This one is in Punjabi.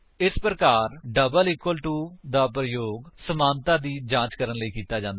ਇਸ ਪ੍ਰਕਾਰ ਡਬਲ ਇਕਵਲ ਦਾ ਪ੍ਰਯੋਗ ਸਮਾਨਤਾ ਦੀ ਜਾਂਚ ਕਰਨ ਲਈ ਕੀਤਾ ਜਾਂਦਾ ਹੈ